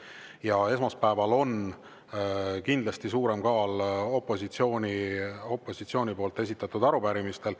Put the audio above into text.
Ja esmaspäeval on kindlasti suurem kaal opositsiooni esitatud arupärimistel.